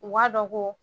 U b'a dɔn ko